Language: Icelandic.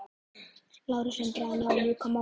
LÁRUS: Reynið þá að ljúka málinu.